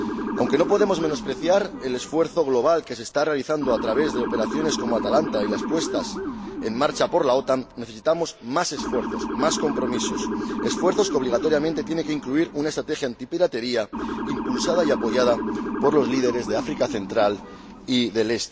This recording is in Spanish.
Aunque no podemos menospreciar el esfuerzo global que se está realizando a través de operaciones como Atalanta y las puestas en marcha por la OTAN, necesitamos más esfuerzos, más compromisos, esfuerzos que obligatoriamente tienen que incluir una estrategia antipiratería impulsada y apoyada por los líderes del África Central y Oriental.